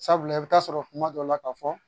Sabula i bɛ taa sɔrɔ kuma dɔ la ka fɔ